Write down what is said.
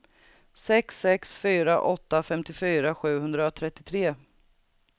sex sex fyra åtta femtiofyra sjuhundratrettiotre